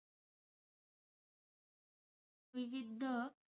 विविध,